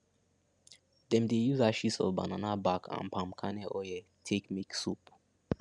them dey use ashes of banana back and palm kernel oil take make soap